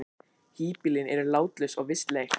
Híbýlin eru látlaus og vistleg.